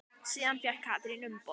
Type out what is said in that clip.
Síðan fékk Katrín umboð.